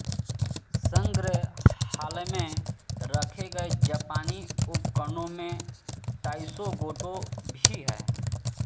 संग्रहालय में रखे गए जापानी उपकरणों में ताइशोगोटो भी हैं